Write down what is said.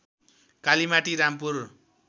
Kalimati Rampur